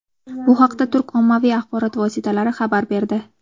Bu haqda turk ommaviy axborot vositalari xabar berdi.